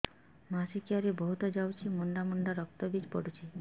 ମାସିକିଆ ରେ ବହୁତ ଯାଉଛି ମୁଣ୍ଡା ମୁଣ୍ଡା ରକ୍ତ ବି ପଡୁଛି